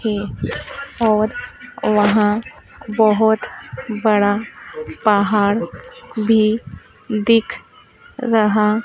एक और वहां बहोत बड़ा पहाड़ भी दिख रहा--